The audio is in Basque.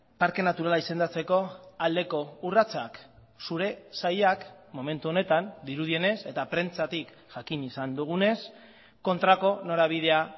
parke naturala izendatzeko aldeko urratsak zure sailak momentu honetan dirudienez eta prentsatik jakin izan dugunez kontrako norabidea